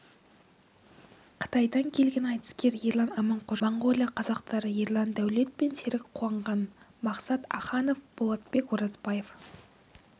қытайдан келген айтыскер ерлан аманқожа моңғолия қазақтары ерлан дәулет пен серік қуанған мақсат аханов болатбек оразбаев